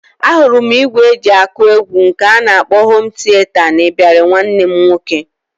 Ahụrụ m ìgwè e ji akụ egwu nke a kpọrọ hom tieta n'ịbarị nwanne m nwoke